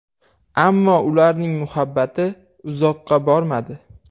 Ammo ularning muhabbati uzoqqa bormadi.